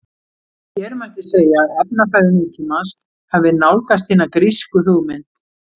Hér mætti segja að efnafræði nútímans hafi nálgast hina grísku hugmynd.